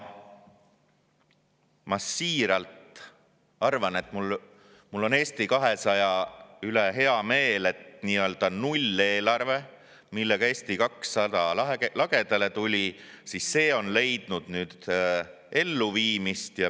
Ma siiralt ütlen, et mul on Eesti 200 üle hea meel, sest nii-öelda nulleelarve, millega Eesti 200 lagedale tuli, on leidnud nüüd elluviimist.